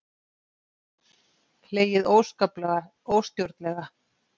Hlegið óskaplega, óstjórnlega.